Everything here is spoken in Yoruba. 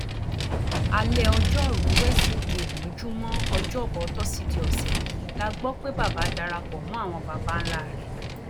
alẹ ọjọrùú wẹsídẹẹ mójúmọ ọjọbọ tọsídẹẹ ọsẹ yìí la gbọ pé bàbá dara pọ mọ àwọn babańlá rẹ